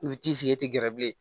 I bi t'i sigi i tɛ gɛrɛ bilen